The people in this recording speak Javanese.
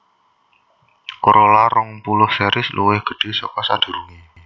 Corolla rong puluh series luwih gedhé saka sadurungé